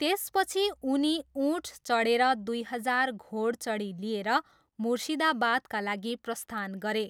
त्यसपछि उनी ऊँट चढेर दुई हजार घोडचढी लिएर मुर्सिदाबादका लागि प्रस्थान गरे।